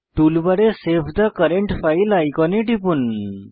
টুলবারে save the current file আইকনে টিপুন